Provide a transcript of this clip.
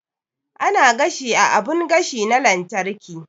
Ana gashi a abun gashi na lantarki